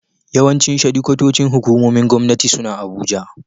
Yawancin shedikwatocin hukumomin Gwamnati suna Abuja.